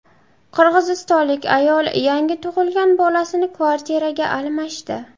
Qirg‘izistonlik ayol yangi tug‘ilgan bolasini kvartiraga almashdi.